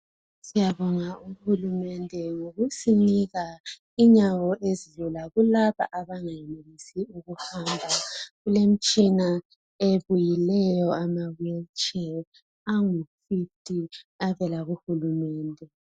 Siyabonga uhulumende ngokusinika inyawo ezilula kulabo abangenelisi ukuhamba. Kulemitshina ebuyileyo, amawheelchair, abuyileyo. Angufifty avela kuhulumende.